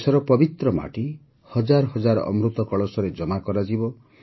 ଦେଶର ପବିତ୍ର ମାଟି ହଜାର ହଜାର ଅମୃତ କଳସରେ ଜମା କରାଯିବ